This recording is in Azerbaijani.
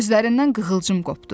Gözlərindən qığılcım qopdu.